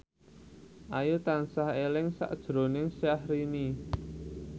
Ayu tansah eling sakjroning Syahrini